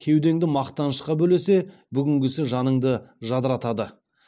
кеудеңді мақтанышқа бөлесе бүгінгісі жаныңды жадыратады